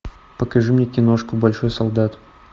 покажи мне киношку большой солдат